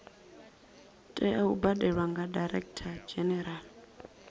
tea u badelwa kha directorgeneral